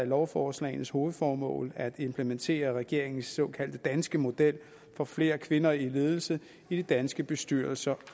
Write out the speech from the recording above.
lovforslagenes hovedformål at implementere regeringens såkaldte danske model for flere kvinder i ledelse i de danske bestyrelser